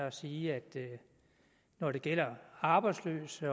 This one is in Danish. at sige at når det gælder arbejdsløse